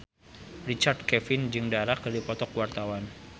Richard Kevin jeung Dara keur dipoto ku wartawan